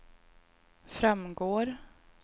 framgår